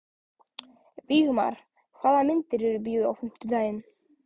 Vígmar, hvaða myndir eru í bíó á fimmtudaginn?